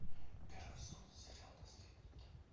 первый сезон сериал наследники